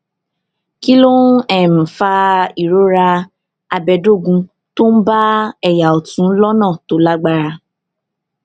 kí ló ń um fa ìrora abẹdógún tó ń bá um ẹyà ọtún lọnà tó lágbára